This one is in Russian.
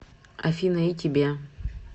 афина и тебе